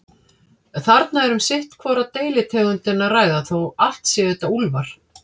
Þarna er um sitt hvora deilitegundina að ræða, þó allt séu þetta úlfar.